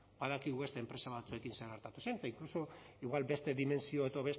badakigu beste enpresa batzuekin zer gertatu zen eta inkluso igual beste dimentsio edo